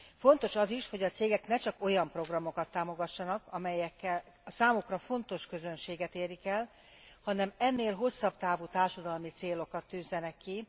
Fontos az is, hogy a cégek ne csak olyan programokat támogassanak, amelyekkel a számukra fontos közönséget érik el, hanem ennél hosszabb távú társadalmi célokat tűzzenek ki.